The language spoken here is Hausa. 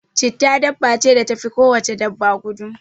chetta dabba ce da tafi ko wace dabba gudu